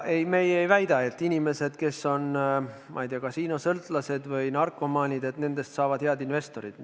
Ei, meie ei väida, et inimestest, kes on kasiinosõltlased või narkomaanid, saavad head investorid.